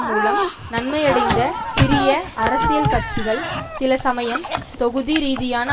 மூலம் நன்மையடைந்த சிறிய அரசியல் கட்சிகள் சில சமயம் தொகுதி ரீதியான